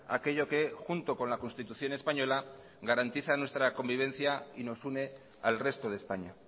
aquello que junto con la constitución española garantiza nuestra convivencia y nos une al resto de españa